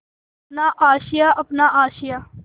अपना आशियाँ अपना आशियाँ